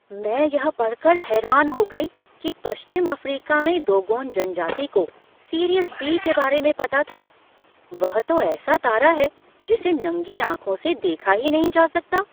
मैं यह पढ़कर हैरान हो गई कि पश्चिम अफ्रीका में डोगोन जनजाति को सीरियस बी के बारे में पता था। वह तो ऐसा तारा है जिसे नंगी आँखों से देखा ही नहीं जा सकता।